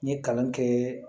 N ye kalan kɛ